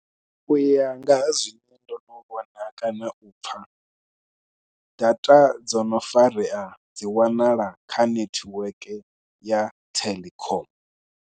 U ya nga ha zwine ndo no vhona kana u pfha, data dzo no farea dzi wanala kha netiweke ya Telkom.